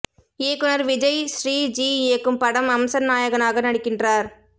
இயக்குனர் விஜய் ஸ்ரீ ஜி இயக்கும் படம் அம்சன் நாயகனாக நடிக்கின்றார்